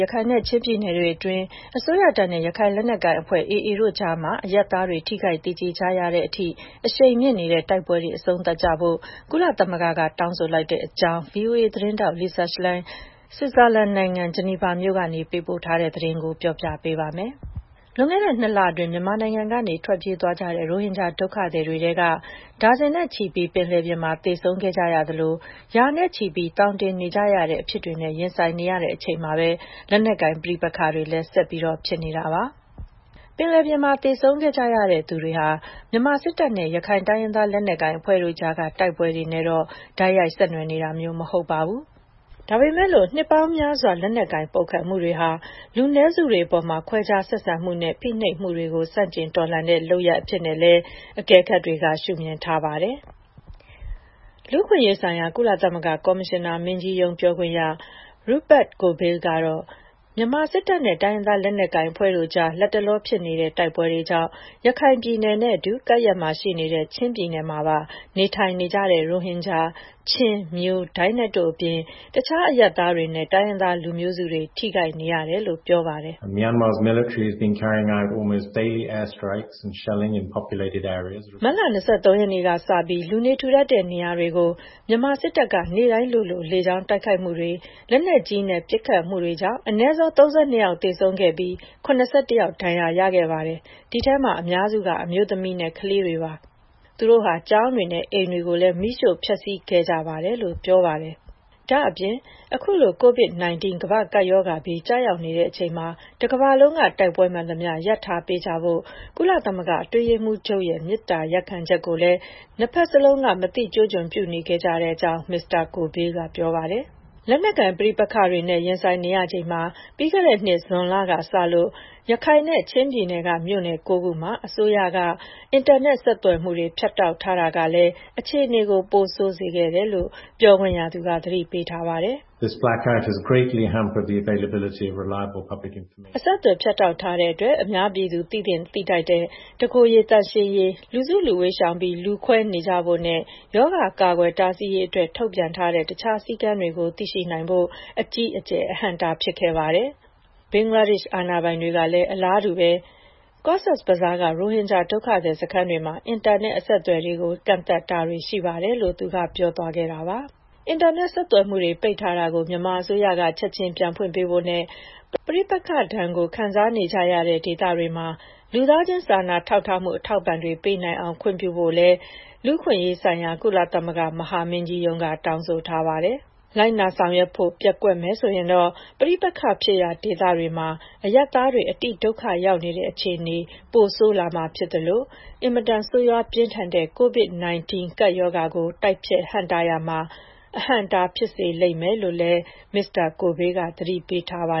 ရခိုင်နဲ့ ချင်းပြည်နယ်တွေအတွင်း အစိုးရတပ်နဲ့ ရခိုင်လက်နက်ကိုင်အဖွဲ့ AA တို့ကြားမှာ အရပ်သားတွေ ထိခိုက်သေကျေနေရတဲ့အထိ အရှိန်မြင့်နေတဲ့ တိုက်ပွဲတွေ အဆုံးသတ်ကြဖို့ ကုလသမဂ္ဂက တောင်းဆိုလိုက်ပါတယ်။ ဒီအကြောင်းနဲ့ပတ်သက်လို့ ဗွီအိုအေသတင်းထောက် Lisa Schlein ဆွစ်ဇာလန်နိုင်ငံ ဂျနီဗာမြို့ကနေ ပေးပို့ထားတဲ့သတင်းကို မခွာညိုက တင်ပြပေးထားပါတယ်။ လွန်ခဲ့တဲ့ ၂ လအတွင်း မြန်မာနိုင်ငံကနေ ထွက်ပြေးကြတဲ့ ရိုဟင်ဂျာ ဒုက္ခသည်တွေထဲက ဒါဇင်နဲ့ချီပြီး ပင်လယ်ပြင်မှာ သေဆုံးခဲ့ကြရသလို ရာနဲ့ချီပြီး သောင်တင်နေတဲ့ အဖြစ်တွေနဲ့ ကြုံနေရချိန်မှာပဲ လက်နက်ကိုင် ပဋိပက္ခတွေလည်း ဆက်လက်ဖြစ်ပွားနေတာပါ။ ပင်လယ်ပြင်မှာ သေဆုံးခဲ့ကြရသူတွေဟာ မြန်မာစစ်တပ်နဲ့ ရခိုင်တိုင်းရင်းသား လက်နက်ကိုင်အဖွဲ့တို့ကြားက တိုက်ပွဲတွေနဲ့တော့ တိုက်ရိုက် ဆက်နွှယ်နေတာမျိုးတော့ မဟုတ်ပါဘူး။ ဒါပေမယ့် နှစ်ပေါင်းများစွာ လက်နက်ကိုင် ပုန်ကန်မှုတွေဟာ လူနည်းစုတွေအပေါ် ခွဲခြားဆက်ဆံမှုနဲ့ ဖိနှိပ်မှုတွေကို ဆန့်ကျင်တော်လှန်တဲ့ လုပ်ရပ်အဖြစ်နဲ့လည်း အကဲခတ်တွေက ရှုမြင်ထားကြပါတယ်။ လူ့အခွင့်အရေးဆိုင်ရာ ကုလသမဂ္ဂ ကော်မရှင်နာမင်းကြီးရုံး ပြောခွင့်ရ Rupert Colville ကတော့ လတ်တလော မြန်မာစစ်တပ်နဲ့ တိုင်းရင်းသား လက်နက်ကိုင်အဖွဲ့တို့ကြား ဖြစ်ပွားနေတဲ့ တိုက်ပွဲတွေကြောင့် ရခိုင်ပြည်နယ်နဲ့အတူ ကပ်လျက်ရှိနေတဲ့ ချင်းပြည်နယ်မှာပါ နေထိုင်နေကြတဲ့ ရိုဟင်ဂျာ၊ ချင်း၊ မြို၊ ဒိုင်းနက်တို့အပြင် တခြားအရပ်သားတွေနဲ့ တိုင်းရင်းသား လူမျိုးစုတွေ ထိခိုက်နေရတယ်လို့ ပြောပါတယ်။ “မတ်လ ၂၃ ရက်နေ့ကစပြီး လူနေထူထပ်တဲ့ နေရာတွေကို မြန်မာစစ်တပ်က နေ့တိုင်းလိုလို လေကြောင်းတိုက်ခိုက်မှုတွေ၊ လက်နက်ကြီးနဲ့ ပစ်ခတ်မှုတွေကြောင့် အနည်းဆုံး ၃၂ ယောက် သေဆုံးပြီး ၇၁ ယောက် ဒဏ်ရာရခဲ့ပါတယ်။ ဒီထဲမှာ အများစုက အမျိုးသမီးနဲ့ ကလေးတွေ ဖြစ်ကြပါတယ်။ သူတို့ဟာ ကျောင်းတွေ၊ အိမ်တွေကိုလည်း မီးရှို့ဖျက်ဆီးခဲ့ကြပါတယ်။” ဒါ့အပြင် အခုလို COVID-19 ကမ္ဘာ့ကပ်ရောဂါဘေး ကျရောက်နေတဲ့အချိန်မှာ တကမ္ဘာလုံးက တိုက်ပွဲမှန်သမျှ ရပ်ထားပေးကြဖို့ ကုလသမဂ္ဂ အတွင်းရေးမှူးချုပ်ရဲ့ မေတ္တာရပ်ခံချက်ကိုလည်း နှစ်ဖက်စလုံးက မသိကျိုးကျွံ ပြုနေခဲ့ကြကြောင်း Colville က ပြောပါတယ်။ လက်နက်ကိုင် ပဋိပက္ခတွေနဲ့ ရင်ဆိုင်နေရချိန်မှာ ပြီးခဲ့တဲ့နှစ် ဇွန်လကစလို့ ရခိုင်နဲ့ ချင်းပြည်နယ်က မြို့နယ် ၉ ခုမှာ အစိုးရက အင်တာနက် ဆက်သွယ်မှုတွေ ဖြတ်တောက်ထားတာဟာလည်း အခြေအနေကို ပိုဆိုးစေခဲ့ကြောင်း ပြောခွင့်ရသူက သတိပေးထားပါတယ်။ “အဆက်အသွယ် ဖြတ်တောက်ထားတဲ့အတွက် အများပြည်သူ သိသင့်သိထိုက်တဲ့ တကိုယ်ရေသန့်ရှင်းရေး၊ လူစုလူဝေးရှောင်ပြီး လူခွဲနေကြဖို့နဲ့ ရောဂါ ကာကွယ်တားဆီးရေးအတွက် ထုတ်ပြန်ထားတဲ့ တခြားစည်းကမ်းတွေကို သိရှိနိုင်ဖို့အတွက် အကြီးအကျယ် အဟန့်အတား ဖြစ်ခဲ့ပါတယ်။ ဘင်္ဂလားဒေ့ရှ် အာဏာပိုင်တွေကလည်း အလားတူ ကော့ဇ်ဘဇားက ရိုဟင်ဂျာ ဒုက္ခသည်စခန်းတွေမှာ အင်တာနက် အဆက်အသွယ်တွေကို ကန့်သတ်တာတွေ ရှိပါတယ်။” အင်တာနက် ဆက်သွယ်မှုတွေ ပိတ်ထားတာကို မြန်မာအစိုးရက ချက်ချင်းပြန်ဖွင့်ပေးဖို့နဲ့ ပဋိပက္ခဒဏ်ကို ခံစားနေကြရတဲ့ ဒေသတွေမှာ လူသားချင်း စာနာမှု အထောက်အပံ့တွေ ပေးနိုင်အောင် ခွင့်ပြုဖို့လည်း လူ့အခွင့်အရေးဆိုင်ရာ ကုလသမဂ္ဂ မဟာမင်းကြီးရုံးက တောင်းဆိုထားပါတယ်။ လိုက်နာဆောင်ရွက်ဖို့ ပျက်ကွက်မယ်ဆိုရင်တော့ ပဋိပက္ခဖြစ်ရာ ဒေသတွေမှာ အရပ်သားတွေ အတိဒုက္ခရောက်နေတဲ့ အခြေအနေ ပိုဆိုးလာမှာဖြစ်သလို အင်မတန် ဆိုးရွားပြင်းထန်တဲ့ COVID-19 ကပ်ရောဂါကို တိုက်ဖျက်ဟန့်တားရာမှာ အဟန့်အတား ဖြစ်စေလိမ့်မယ်လို့လည်း Mr. Colville က သတိပေးထားပါ